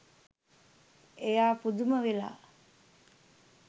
එයා පුදුම වෙලා